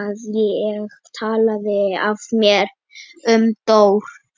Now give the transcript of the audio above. að ég talaði af mér um Dór.